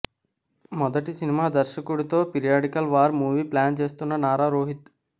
మొదటి సినిమా దర్శకుడుతో periodical war movie plan చేస్తున్న నారా రోహిత్